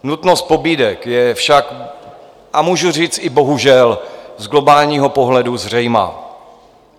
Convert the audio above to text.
Nutnost pobídek je však - a můžu říct i bohužel - z globálního pohledu zřejmá.